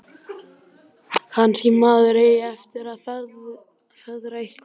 Kannski maður eigi eftir að feðra eitthvað.